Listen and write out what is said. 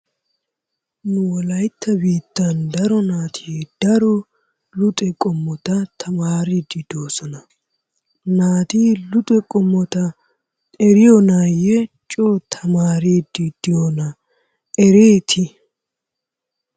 Nu wolayita biittan naati daro luxo qommota tamaariiddi doosona. Naati luxo qommota eriyonaayye coo tamaariiiddi diyonaa ereeti?